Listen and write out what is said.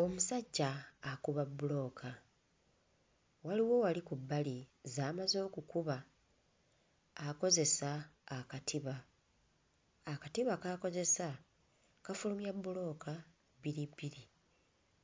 Omusajja akuba bbulooka, waliwo wali ku bbali z'amaze okukuba, akozesa akatiba. Akatiba k'akozesa kafulumya bbulooka bbiri bbiri.